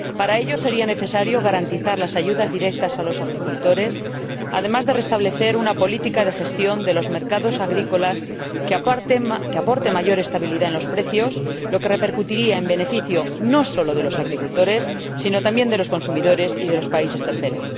Para ello, sería necesario garantizar las ayudas directas a los agricultores, además de restablecer una política de gestión de los mercados agrícolas que aporte mayor estabilidad a los precios, lo que repercutiría en beneficio no sólo de los agricultores sino también de los consumidores y de los países terceros.